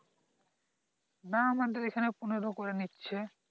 না আমাদের এখানে পনেরো করে নিচ্ছে